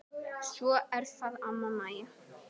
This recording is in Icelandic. Svo er það amma Mæja.